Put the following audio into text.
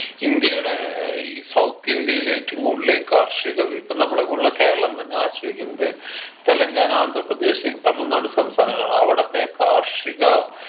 ഇന്ത്യയുടെ ഏർ ഈ south ഇന്ത്യയിലേറ്റും കൂടുതല് കാർഷിക ഇപ്പൊ നമ്മളെ പോലുള്ള കേരളം തന്നെ ആശ്രയിക്കുന്നത് തെലുങ്കാന ആന്ധ്രപ്രദേശ് തമിഴ്നാട് സംസ്ഥാനങ്ങളാണ് അവിടത്തെ കാർഷിക